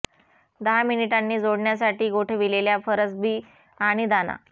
दहा मिनिटांनी जोडण्यासाठी गोठविलेल्या फरसबी आणि दाणा